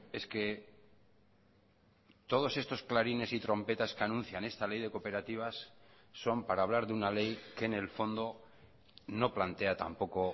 es que todos estos clarines y trompetas que anuncian esta ley de cooperativas son para hablar de una ley que en el fondo no plantea tampoco